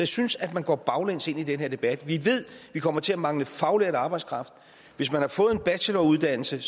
synes at man går baglæns ind i den her debat vi ved at vi kommer til at mangle faglært arbejdskraft hvis man har fået en bacheloruddannelse